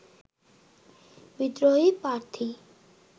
বিদ্রোহী প্রার্থী